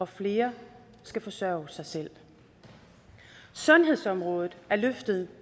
flere skal forsørge sig selv sundhedsområdet er løftet